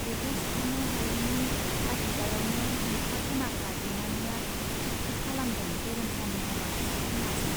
बेखौ सुख'नो हायैनि तागिदायावनो नुखा खोनाखा बिमानैया थिक थाक खालामदों गेरेमसानि हाबाखौ जिनाजों।